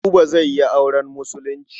Buba zai yi auren Musulunci.